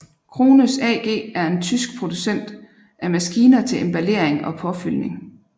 Krones AG er en tysk producent af maskiner til emballering og påfyldning